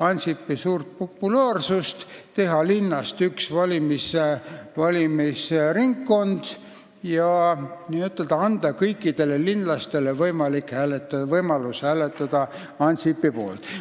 Ansipi suurt populaarsust ära kasutades teha linnas üks valimisringkond ja anda kõikidele linlastele võimalus hääletada Ansipi poolt.